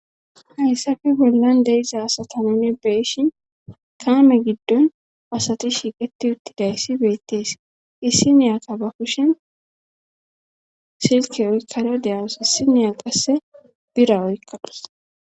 hayssafe bollan deiza asata nuni beishin kaame giddon asati shiiqeti uttidayssi beettees issi neyaka ba kushen silke oykkado deyawos issineya qasse bira oykkadus